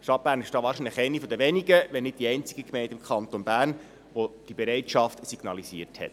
Die Stadt Bern ist damit wohl eine der wenigen, wenn nicht die einzige Gemeinde im Kanton Bern, welche diese Bereitschaft signalisiert hat.